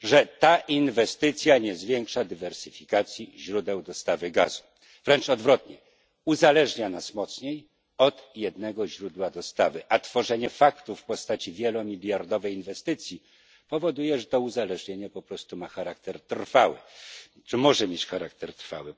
Po pierwsze, inwestycja ta nie zwiększa dywersyfikacji źródeł dostaw gazu, wręcz przeciwnie uzależnia nas mocniej od jednego źródła dostaw, a tworzenie faktów w postaci wielomiliardowej inwestycji powoduje, że uzależnienie to ma charakter trwały lub może mieć charakter trwały.